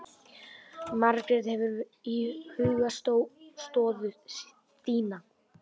Margrét: Hefurðu íhugað stöðu þína?